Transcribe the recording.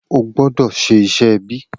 O gbọ́dọ̀ ṣe iṣẹ́ ẹbí.